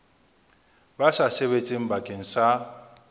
ba sa sebetseng bakeng sa